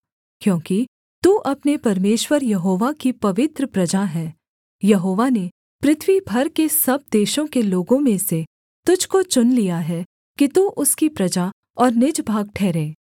क्योंकि तू अपने परमेश्वर यहोवा की पवित्र प्रजा है यहोवा ने पृथ्वी भर के सब देशों के लोगों में से तुझको चुन लिया है कि तू उसकी प्रजा और निज भाग ठहरे